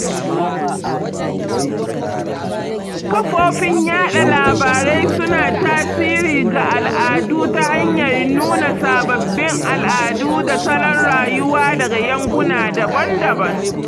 Kafofin yaɗa labarai suna tasiri ga al'adu ta hanyar nuna sababbin al'adu da salon rayuwa daga yankuna daban-daban.